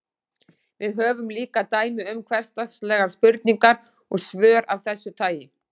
Við höfum líka dæmi um hversdagslegar spurningar og svör af þessu tagi.